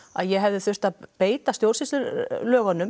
að ég hefði þurft að beita stjórnsýslulögum